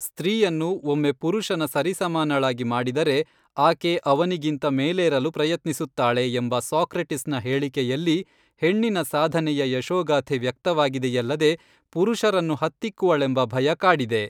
ಸ್ತ್ರೀಯನ್ನು ಒಮ್ಮೆ ಪುರುಷನ ಸರಿಸಮಾನಳಾಗಿ ಮಾಡಿದರೆ ಆಕೆ ಅವನಿಗಿಂತ ಮೇಲೇರಲು ಪ್ರಯತ್ನಿಸುತ್ತಾಳೆ ಎಂಬ ಸಾಕ್ರೆಟಿಸ್ ನ ಹೇಳಿಕೆಯಲ್ಲಿ ಹೆಣ್ಣಿನ ಸಾಧನೆಯ ಯಶೋಗಾಥೆ ವ್ಯಕ್ತವಾಗಿದೆಯಲ್ಲದೆ ಪುರುಷರನ್ನು ಹತ್ತಿಕ್ಕುವಳೆಂಬ ಭಯ ಕಾಡಿದೆ.